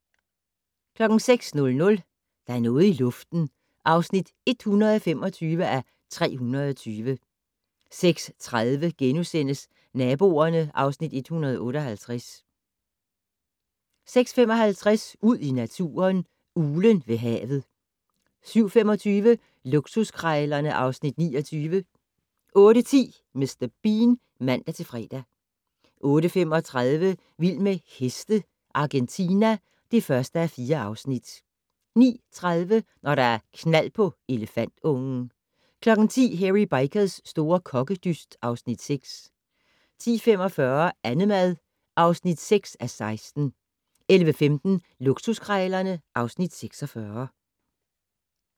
06:00: Der er noget i luften (125:320) 06:30: Naboerne (Afs. 158)* 06:55: Ud i naturen: Uglen ved havet 07:25: Luksuskrejlerne (Afs. 29) 08:10: Mr. Bean (man-fre) 08:35: Vild med heste - Argentina (1:4) 09:30: Når der er knald på elefantungen 10:00: Hairy Bikers' store kokkedyst (Afs. 6) 10:45: Annemad (6:16) 11:15: Luksuskrejlerne (Afs. 46)